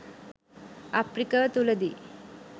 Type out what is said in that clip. අප්‍රිකව තුළ දී